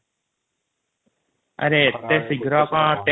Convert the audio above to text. missing text